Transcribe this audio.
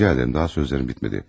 Rica edirəm, daha sözlərim bitmədi.